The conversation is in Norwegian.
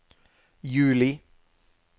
juli